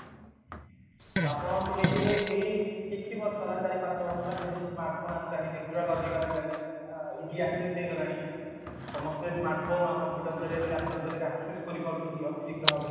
ତ ଆପଣ ଶୁଣିଥିବେ ଏଇ କିଛି ବର୍ଷ ହେଲା ଚାରି ପାଞ୍ଚ ବର୍ଷ ହେଲା ଯେବେଠୁ ସ୍ମାର୍ଟ ଫୋନେ ଆସିଲାଣି ନେଟୱର୍କ ଅଧିକ ଆସିଲାଣି ଅ easy access ହେଇଗଲାଣି ସମସ୍ତେ ସ୍ମାର୍ଟ ଫୋନ ଆଉ କମ୍ପୁଟର ଜରିଆ ରେ ଲାପଟପ ଜରିଆ ରେ access କରିପାରୁଛନ୍ତି ଅତି ଶୀଘ୍ର ଭାବେ